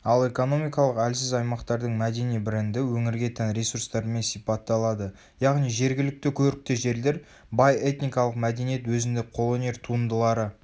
ал экономикалық әлсіз аймақтардың мәдени бренді өңірге тән ресурстарымен сипатталады яғни жергілікті көрікті жерлер бай этникалық мәдениет өзіндік қолөнер туындылары